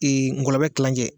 ngɔlɔbɛ kilancɛ